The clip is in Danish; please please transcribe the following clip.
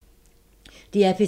DR P3